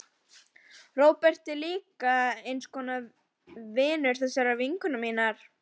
Róbert er líka eins konar vinur þessarar vinkonu minnar.